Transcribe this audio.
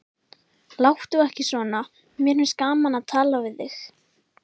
Láttu ekki svona, mér finnst gaman að tala við þig.